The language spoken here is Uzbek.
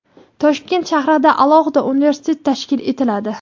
Toshkent shahrida alohida universitet tashkil etiladi.